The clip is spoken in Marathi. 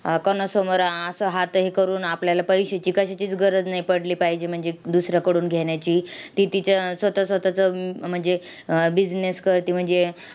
अह कोणासमोर आह असं हात हे करून आपल्याला परीक्षेची कशाचीच गरज नाही पडली पाहिजे, म्हणजे दुसऱ्याकडून घेण्याची. ती तिच्या स्वतः स्वतःचं म्हणजे अह business करते. म्हणजे,